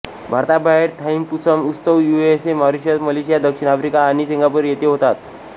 भारताबाहेर थाईपुसम उत्सव USA Mauritius Malaysia दक्षिण आफ्रिका आणि सिंगापूर येथे होतात